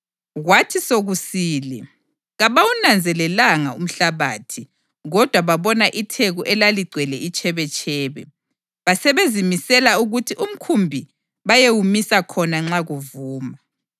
Kwathi sokusile kabawunanzelelanga umhlabathi, kodwa babona itheku elaligcwele itshebetshebe, basebezimisela ukuthi umkhumbi bayewumisa khona nxa kuvuma.